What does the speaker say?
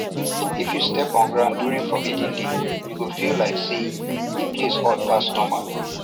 if you step on ground during forbidden day you go feel like say the place hot pass normal